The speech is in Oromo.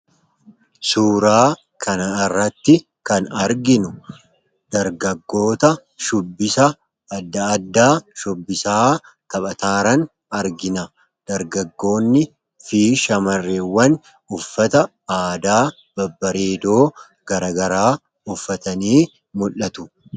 Suuraa kanairratti kan arginu dargaggoota shubbisa adda addaa shubbisaa taphataaran argina dargaggoonni fi shamareewwan uffata aadaa babbareedoo garagaraa uffatanii mul'atu.